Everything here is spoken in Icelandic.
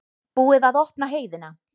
Búið að opna heiðina